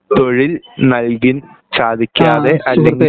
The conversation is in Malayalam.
തൊഴിൽ നൽകി സാധിക്കാതെ അതിന്